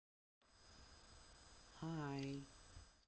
хай